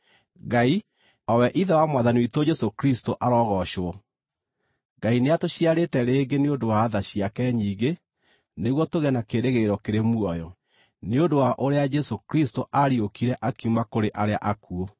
Ngai, o we Ithe wa Mwathani witũ Jesũ Kristũ, arogoocwo! Ngai nĩatũciarĩte rĩngĩ nĩ ũndũ wa tha ciake nyingĩ nĩguo tũgĩe na kĩĩrĩgĩrĩro kĩrĩ muoyo, nĩ ũndũ wa ũrĩa Jesũ Kristũ aariũkire akiuma kũrĩ arĩa akuũ.